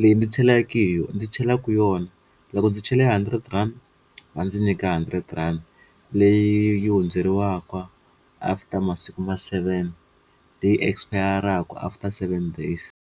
leyi ndzi hi yona ndzi chela na ku yona loko ndzi chele hundred rand va ndzi nyika hundred rand leyi hundzeriwaka after masiku ma seven leyi expire-raka after seven days.